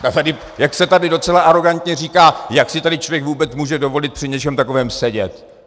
Jak se tady docela arogantně říká, jak si tady člověk vůbec může dovolit při něčem takovém sedět?